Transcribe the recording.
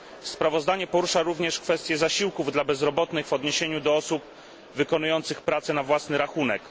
Sprawozdanie porusza również kwestię zasiłków dla bezrobotnych w odniesieniu do osób wykonujących pracę na własny rachunek.